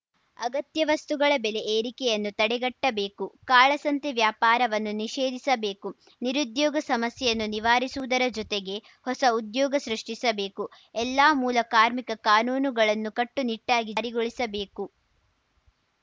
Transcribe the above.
ಅಗತ್ಯ ವಸ್ತುಗಳ ಬೆಲೆ ಏರಿಕೆಯನ್ನು ತಡೆಗಟ್ಟಬೇಕು ಕಾಳಸಂತೆ ವ್ಯಾಪಾರವನ್ನು ನಿಷೇಧಿಸಬೇಕು ನಿರುದ್ಯೋಗ ಸಮಸ್ಯೆಯನ್ನು ನಿವಾರಿಸುವುದರ ಜೊತೆಗೆ ಹೊಸ ಉದ್ಯೋಗ ಸೃಷ್ಠಿಸಬೇಕು ಎಲ್ಲ ಮೂಲ ಕಾರ್ಮಿಕ ಕಾನೂನುಗಳನ್ನು ಕಟ್ಟುನಿಟ್ಟಾಗಿ ಜಾರಿಗೊಳಿಸಬೇಕು